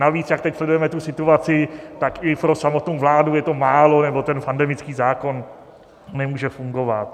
Navíc jak teď sledujeme tu situaci, tak i pro samotnou vládu je to málo, nebo ten pandemický zákon nemůže fungovat.